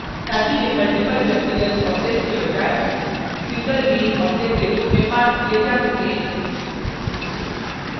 ताकि वे multiple व्यक्तिगत objects के बजाय single bean object के रूप में passed किये जा सकें